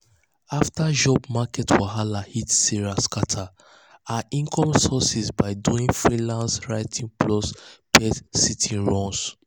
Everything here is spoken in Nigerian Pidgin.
after job market wahala hit sarah scatter her income sources by doing freelance writing plus pet-sitting runs.